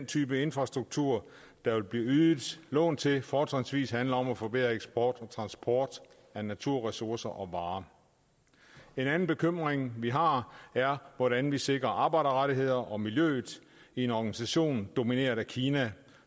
type infrastruktur der vil blive ydet lån til fortrinsvis handler om at forbedre eksport og transport af naturressourcer og varer en anden bekymring vi har er hvordan vi sikrer arbejderrettigheder og miljøet i en organisation domineret af kina